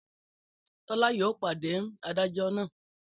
Tọ́lá yóò pàdé adájọ́ náà